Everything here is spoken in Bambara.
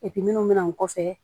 minnu bɛ na o kɔfɛ